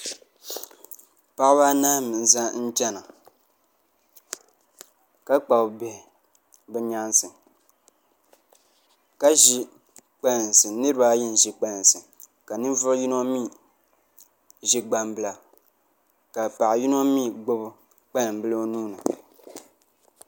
Paɣaba anahi n chɛna ka kpabi bihi bi nyaansi ka ʒi kpalansi niraba ayi n ʒi kpalansi ka ninvuɣu yino mii ʒi gbambila ka paɣa yino mii gbubi kpalanbila o nuuni